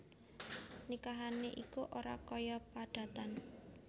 Nikahané iku ora kaya padatan